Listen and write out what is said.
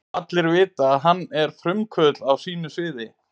Allir vita, að hann var frumkvöðull á sínu sviði.